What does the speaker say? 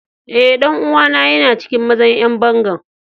Eh, dan uwa na yana cikin mazan yan bangan.